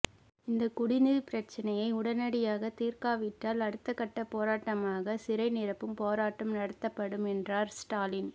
இந்த குடிநீர் பிரச்சனையை உடனடியாக தீர்க்காவிட்டால் அடுத்து கட்ட போரட்டாமாக சிறை நிரப்பும் போரட்டம் நடத்தப்படும் என்றார் ஸ்டாலின்